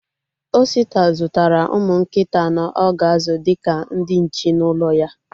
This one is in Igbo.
Osita zụtara ụmụ nkịta anọ o ga-azụ dịka ndị nche n'ụlọ ya